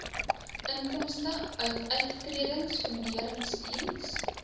inkomste uit uittredingfunderingsdiens